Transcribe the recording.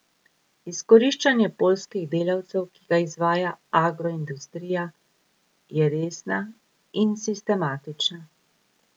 Izkoriščanje poljskih delavcev, ki ga izvaja agroindustrija, je resna in sistematična.